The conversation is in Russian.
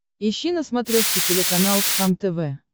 ищи на смотрешке телеканал кхлм тв